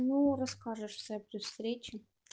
ну расскажешь всё при встрече